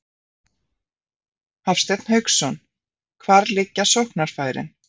Hafsteinn Hauksson: Hvar liggja sóknarfærin?